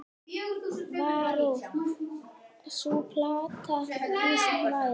Varð sú plata býsna vinsæl.